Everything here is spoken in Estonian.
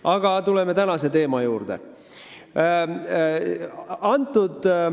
Aga tuleme tänase teema juurde.